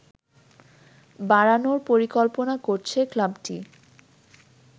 বাড়ানোর পরিকল্পনা করছে ক্লাবটি